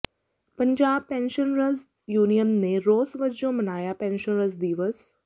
Punjab pensioners union ਨੇ ਰੋਸ ਵਜੋਂ ਮਨਾਇਆ ਪੈਨਸ਼ਨਰਜ਼ ਦਿਵਸ